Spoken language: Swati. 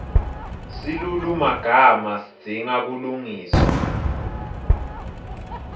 silulumagama sidzinga kulungiswa